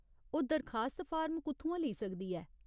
ओह्‌‌ दरखास्त फार्म कुʼत्थुआं लेई सकदी ऐ ?